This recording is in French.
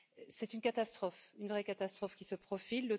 C'est une catastrophe, une vraie catastrophe qui se profile.